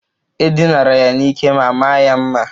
E dinara ya n'ike ma maa ya mma.